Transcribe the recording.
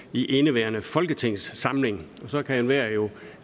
i indeværende folketingssamling og så kan enhver jo